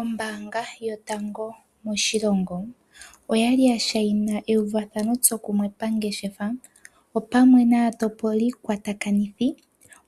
Ombaanga yotango moshilongo oya li yashaina euvathanotsokumwe pangeshefa pamwe naatopolikwatakanithi,